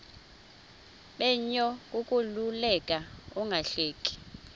menyo kukuleka ungahleki